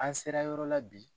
An sera yɔrɔ la bi.